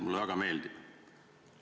Mulle see väga meeldib.